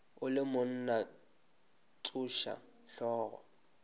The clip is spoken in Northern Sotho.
o le monna tsoša hlogo